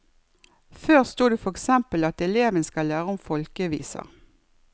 Før sto det for eksempel at eleven skal lære om folkeviser.